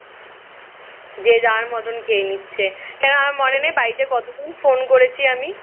যে যার মতন খেয়ে নিচ্ছে কেন আমার মনে নেই বাড়িতে কতদিন phone করেছি আমি